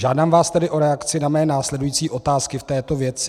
Žádám vás tedy o reakci na své následující otázky v této věci.